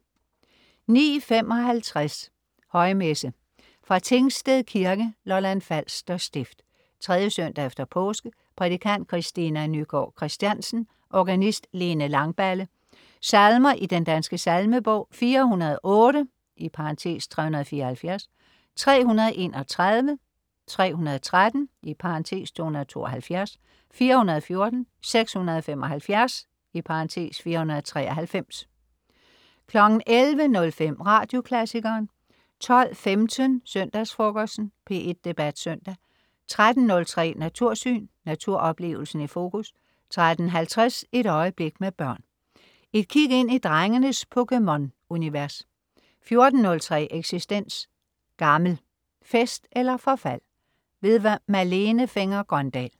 09.54 Højmesse. Fra Tingsted kirke (Lolland Falster Stift). 3. søndag efter påske. Prædikant Christina Nygaard Kristiansen. Organist: Lene Langballe. Salmer i Den danske Salmebog: 408 (374), 331, 313 (272), 414, 675 (493) 11.05 Radioklassikeren 12.15 Søndagsfrokosten. P1 Debat Søndag 13.03 Natursyn. Naturoplevelsen i fokus 13.50 Et øjeblik med børn. Et kig ind i drengenes Pokemon-universet 14.03 Eksistens. Gammel: Fest eller forfald. Malene Fenger-Grøndahl